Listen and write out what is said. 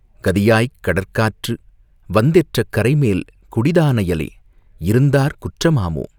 "கதிதாய்க் கடற்காற்று வந்தெற்றக் கரைமேல் குடிதானயலே இருந்தாற் குற்றமாமோ?.